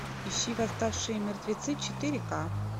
ищи восставшие мертвецы четыре ка